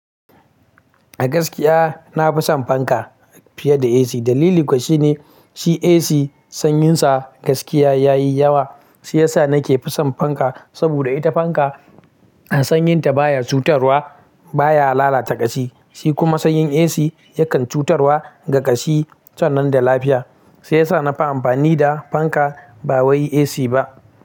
A gaskiya na fi son fanka fiye da AC. Dalili kuwa shine shi AC sanyinsa gaskiya ya yi yawa. Shiyasa ya sa nake fi son fanka saboda ita fanka sanyinta baya cutarwa, baya lalata kashi. Shi kuma sanyin AC yakan cutarwa ga kashi san nan da lafiya. Shiyasa na fi amfani da fanka ba wai AC ba.